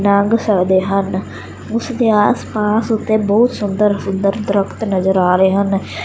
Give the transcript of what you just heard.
ਲੰਘ ਸਕਦੇ ਹਨ ਉਸ ਦੇ ਆਸ ਪਾਸ ਉੱਤੇ ਬਹੁਤ ਸੁੰਦਰ ਸੁੰਦਰ ਦਰਖਤ ਨਜ਼ਰ ਆ ਰਹੇ ਹਨ।